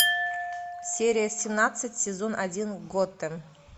серия семнадцать сезон один готэм